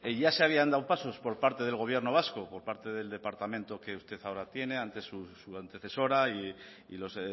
ya se habían dado pasos por parte del gobierno vasco por parte del departamento que usted ahora tiene antes su antecesora y los